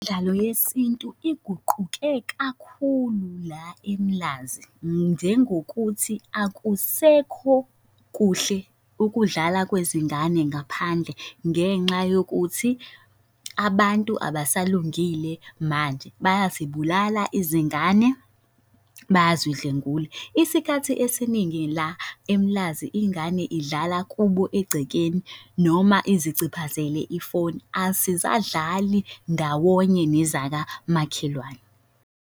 Imidlalo yesintu iguquke kakhulu la eMlazi, njengokuthi akusekho kuhle ukudlala kwezingane ngaphandle ngenxa yokuthi abantu abasalungile manje bayazibulala izingane, bayazidlwengula. Isikhathi esiningi la eMlazi ingane idlala kubo egcekeni noma iziciphazele ifoni azisadlali ndawonye nezakamakhelwane.